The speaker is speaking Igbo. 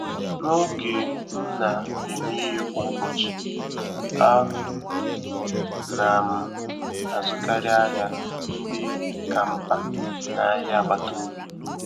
N'oge m na-eme ihe kwa ụbọchị, a na m azụkarị ahịa ndị ka mkpa n'ahịa agbata obi.